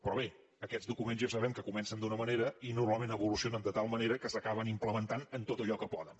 però bé aquests documents ja sabem que comencen d’una manera i normalment evolucionen de tal manera que s’acaben implementant en tot allò que poden